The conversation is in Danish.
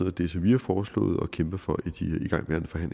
af det som vi har foreslået og kæmper for